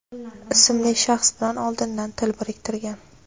ismli shaxs bilan oldindan til biriktirgan.